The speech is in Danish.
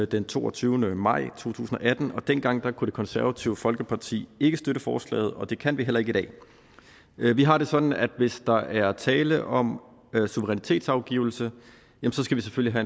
den toogtyvende maj to tusind og atten dengang kunne det konservative folkeparti ikke støtte forslaget og det kan vi heller ikke i dag vi vi har det sådan at hvis der er tale om suverænitetsafgivelse skal vi selvfølgelig